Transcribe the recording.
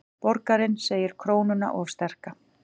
Borgarinn segir krónuna of sterka